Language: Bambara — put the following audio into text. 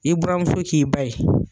I buramuso k'i ba ye.